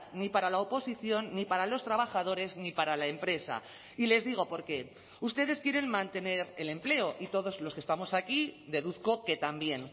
ni para la oposición ni para los trabajadores ni para la empresa y les digo por qué ustedes quieren mantener el empleo y todos los que estamos aquí deduzco que también